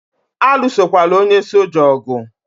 Alụsokwala onye soja ogu!